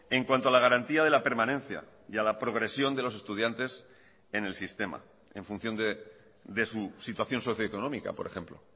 en cuanto a la garantía de la permanencia y a la progresión de los estudiantes en el sistema en función de su situación socioeconómica por ejemplo